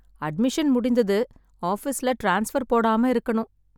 Admission முடிந்தது. ஆபீஸ்ல transfer போடாம இருக்கணும்.